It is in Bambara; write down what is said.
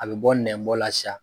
A bɛ bɔ nɛnbɔ la siya